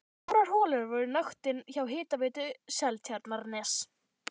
Fjórar holur voru í notkun hjá Hitaveitu Seltjarnarness.